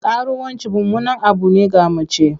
Karuwanci mummunan abu ne ga mace.